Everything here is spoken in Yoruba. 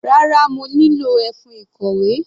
Rárá, mo nílò ẹfun ìkọ̀wé.